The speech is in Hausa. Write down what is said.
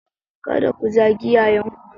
Kada ku zagi 'ya'yanku.